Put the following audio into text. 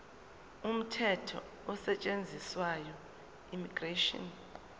umthetho osetshenziswayo immigration